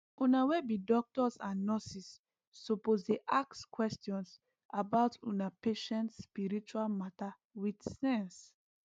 una wey be doctors and nurses suppose dey ask questions about una patients spiritual matter with sense